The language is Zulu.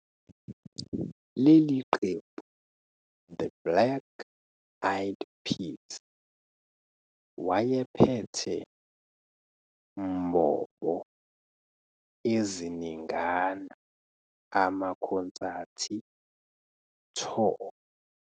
Leli qembu The Black Eyed Peas wayephethe mbobo eziningana amakhonsathi tour.